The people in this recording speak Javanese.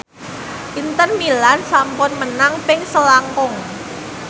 Inter Milan sampun menang ping selangkung